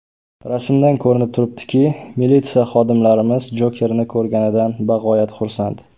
Rasmdan ko‘rinib turibdiki, militsiya xodimlarimiz Jokerni ko‘rganidan bag‘oyat xursand.